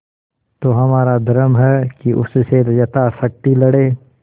तो हमारा धर्म है कि उससे यथाशक्ति लड़ें